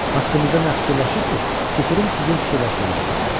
Haqqımızda nə fikirləşirsiniz, tüpürüm sizin fikirləşməyinizə.